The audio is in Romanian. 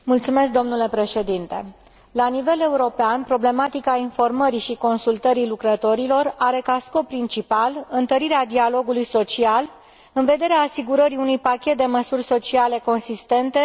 La nivel european, problematica informării și consultării lucrătorilor are ca scop principal întărirea dialogului social, în vederea asigurării unui pachet de măsuri sociale consistente în toate statele membre.